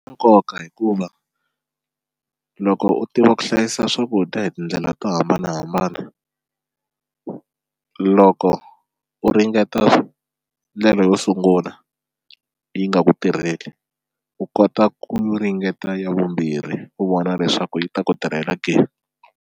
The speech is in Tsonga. nkoka hikuva loko u tiva ku hlayisa swakudya hi tindlela to hambanahambana loko u ringeta ndlela yo sungula yi nga ku tirheli u kota ku ringeta ya vumbirhi u vona leswaku yi ta ku tirhela ke.